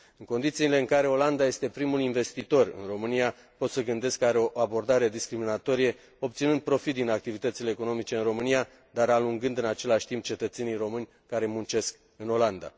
În condițiile în care Olanda este primul investitor în România, pot să gândesc că are o abordare discriminatorie, obținând profit din activitățile economice în România, dar alungând în același timp cetățenii români care muncesc în Olanda.